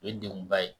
O ye denguba ye